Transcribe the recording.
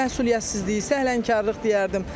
Məsuliyyətsizliyi, səhlənkarlıq deyərdim.